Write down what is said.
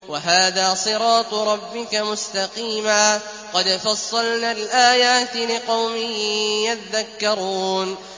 وَهَٰذَا صِرَاطُ رَبِّكَ مُسْتَقِيمًا ۗ قَدْ فَصَّلْنَا الْآيَاتِ لِقَوْمٍ يَذَّكَّرُونَ